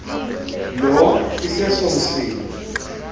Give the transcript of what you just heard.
lo iseso msindo